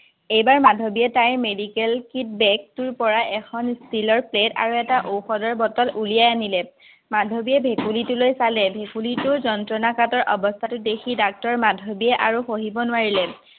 এইবাৰ মাধৱীয়ে তাই medical kit bag টোৰ পৰা এখন steel ৰ plate আৰু এটা ঔষধৰ বটল উলিয়াই আনিলে। মাধৱীয়ে ভেকুলীটোলৈ চালে, ভেকুলীটোৰ যন্ত্ৰণাকাতৰ অৱস্থাটো দেখি ডাক্তৰ মাধৱীয়ে আৰু সহিব নোৱাৰিলে।